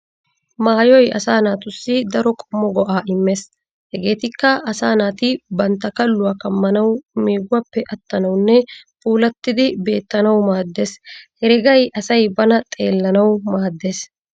Maayoy asaa naatussi daro qommo go'aa immees hegeetikka:- asaa naati bantta kalluwa kammanawu, meeguwappe attanawunne puulattidi beettanawu maaddees. Heregay asay bana xellanawu maaddees.